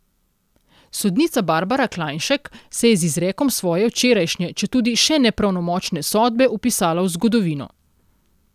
Sodnica Barbara Klajnšek se je z izrekom svoje včerajšnje, četudi še ne pravnomočne sodbe vpisala v zgodovino.